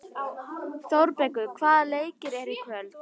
Þórbergur, hvaða leikir eru í kvöld?